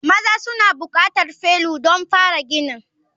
Maza suna buƙatar felu don fara ginin.